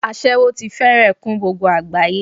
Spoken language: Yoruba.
Aséwó ti fẹ́rẹ̀ kún gbogbo àgbáyé.